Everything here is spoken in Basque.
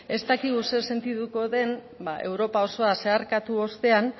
ez dakigu zer sentituko den europa osoa zeharkatu ostean